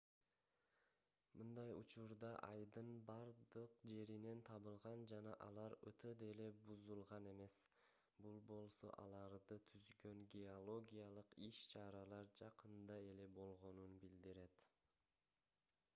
мындай урчуктар айдын бардык жеринен табылган жана алар өтө деле бузулган эмес бул болсо аларды түзгөн геологиялык иш-чаралар жакында эле болгонун билдирет